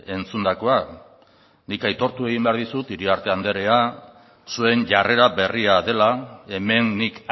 entzundakoa nik aitortu egin behar dizut iriarte andrea zuen jarrera berria dela hemen nik